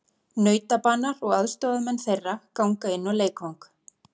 Nautabanar og aðstoðarmenn þeirra ganga inn á leikvang.